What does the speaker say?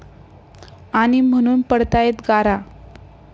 ...आणि म्हणून पडतायेत गारा!